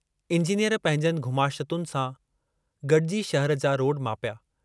Engineer पंहिंजनि घुमाशतुनि सां गडिजी शहर जा रोड मापिया।